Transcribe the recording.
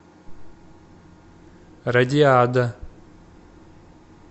радиада